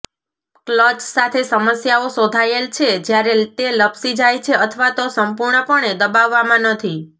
clutch સાથે સમસ્યાઓ શોધાયેલ છે જ્યારે તે લપસી જાય છે અથવા તો સંપૂર્ણપણે દબાવવામાં નથી